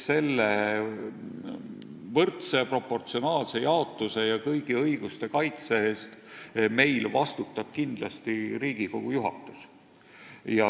Selle proportsionaalse jaotuse ja kõigi õiguste kaitse eest vastutab meil kindlasti Riigikogu juhatus.